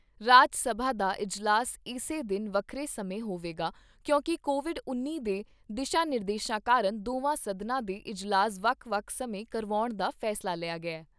ਰਾਜ ਸਭਾ ਦਾ ਇਜਲਾਸ ਇਸੇ ਦਿਨ ਵੱਖਰੇ ਸਮੇਂ ਹੋਵੇਗਾ ਕਿਉਂਕਿ ਕੋਵਿਡ ਉੱਨੀ ਦੇ ਦਿਸ਼ਾ ਨਿਰਦੇਸ਼ਾਂ ਕਾਰਨ ਦੋਵਾਂ ਸਦਨਾਂ ਦੇ ਇਜਲਾਸ ਵੱਖ ਵੱਖ ਸਮੇਂ ਕਰਾਉਣ ਦਾ ਫੈਸਲਾ ਲਿਆ ਗਿਆ ।